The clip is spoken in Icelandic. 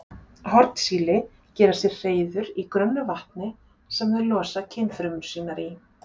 Hornsíli gera sér hreiður í grunnu vatni sem þau losa kynfrumur sínar í.